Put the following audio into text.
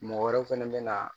Mɔgɔ wɛrɛ fɛnɛ be na